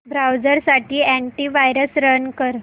browser साठी antivirus run कर